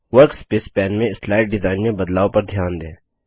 workspace pane में slide design में बदलाव पर ध्यान दें